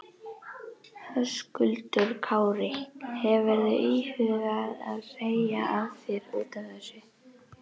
Höskuldur Kári: Hefurðu íhugað að segja af þér útaf þessu?